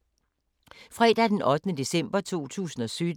Fredag d. 8. december 2017